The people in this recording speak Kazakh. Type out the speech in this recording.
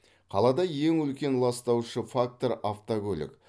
қалада ең үлкен ластаушы фактор автокөлік